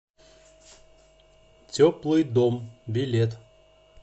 теплый дом билет